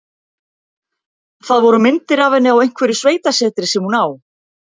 Það voru myndir af henni á einhverju sveitasetri sem hún á.